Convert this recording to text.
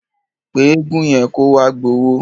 Pé eégun yẹn kó wá gbowó.